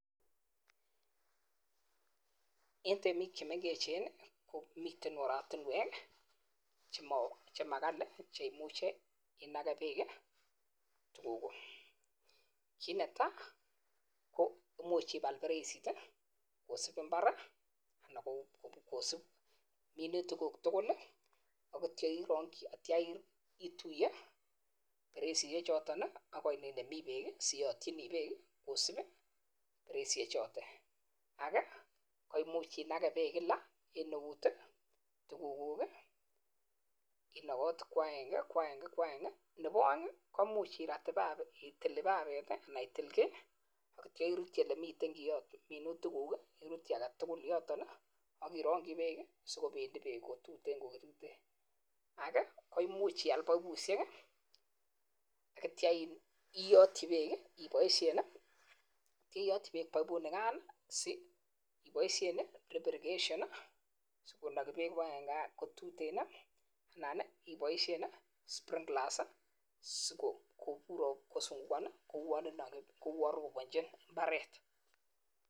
Eng temiik chemengecheeen komitei oratunweek chemengecheeen cheimuchiii inageee peeeek alot gogo. imuchii kopun imbar sikopun beeek yunotete anan ITIL.kipapet sikopechin peeek kotuteen koteeen anan ialnjii chepkisasa sigopiseee sowet kouyon roponchin imbaret